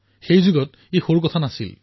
সেই যুগত এয়া সৰু কথা নাছিল